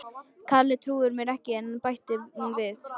Kalli trúir mér ekki bætti hún við.